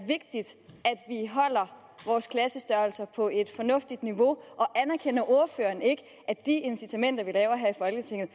holder vores klassestørrelser på et fornuftigt niveau og anerkender ordføreren ikke at de incitamenter vi laver her i folketinget